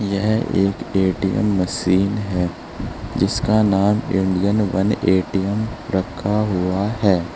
यह एक ATM machine है जिसका नाम इंडियन वन ए_टी_एम रखा हुआ है।